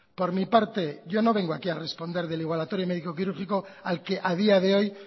por mi parte yo no vengo aquí a responder del igualatorio médico quirúrgico al que a día de hoy